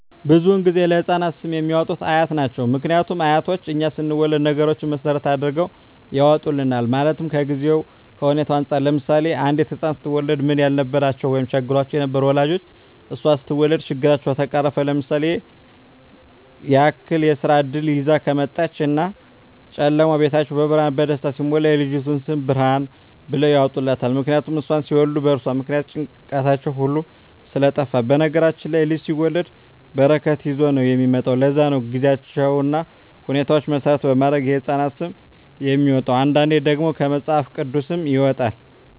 ብዙዉን ጊዜ ለህፃናት ስም የሚያወጡት አያት ናቸዉ ምክንያቱም አያቶቻችን እኛ ስንወለድ ነገሮች መሰረት አድርገዉ ያወጡልናል ማለትም ከጊዜዉ ከሁኔታዉ እንፃር ለምሳሌ አንዲት ህፃን ስትወለድ ምንም ያልነበራቸዉ ወይም ቸግሯቸዉ የነበሩ ወላጆቿ እሷ ስትወለድ ችግራቸዉ ከተፈቀረፈ ለምሳሌ ያክል የስራ እድል ይዛ ከመጣች እና ጨለማዉ ቤታቸዉ በብርሃን በደስታ ሲሞላ የልጅቱ ስም ብርሃን ብለዉ ያወጡላታል ምክንያቱም እሷን ሲወልዱ በእርሷ ምክንያት ጭንቀታቸዉ ሁሉ ስለጠፍ በነገራችን ላይ ልጅ ሲወለድ በረከት ይዞ ነዉ የሚመጣዉ ለዛ ነዉ ጊዜዎችን ሁኔታዎች መሰረት በማድረግ የህፃናት ስም የሚወጣዉ አንዳንዴ ደግሞ ከመፅሀፍ ቅዱስም ይወጣል